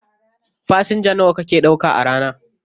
Fasenja nawa kake ɗauka a rana?